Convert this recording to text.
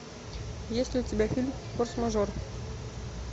есть ли у тебя фильм форс мажор